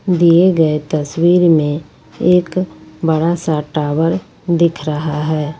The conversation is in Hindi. दिए गए तस्वीर में एक बड़ा सा टावर दिख रहा है।